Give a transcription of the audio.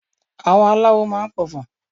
àwọn aláwò ma n p'ọfọ